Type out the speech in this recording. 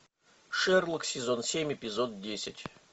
шерлок сезон семь эпизод десять